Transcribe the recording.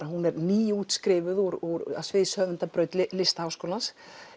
hún er nýútskrifuð úr úr Listaháskólans